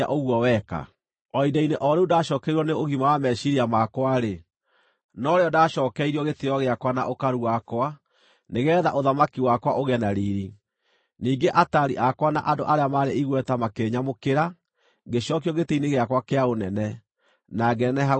O ihinda-inĩ o rĩu ndaacookereirwo nĩ ũgima wa meciiria makwa-rĩ, norĩo ndaacookeirio gĩtĩĩo gĩakwa na ũkaru wakwa nĩgeetha ũthamaki wakwa ũgĩe na riiri. Ningĩ ataari akwa na andũ arĩa maarĩ igweta makĩĩnyamũkĩra, ngĩcookio gĩtĩ-inĩ gĩakwa kĩa ũnene, na ngĩneneha gũkĩra mbere.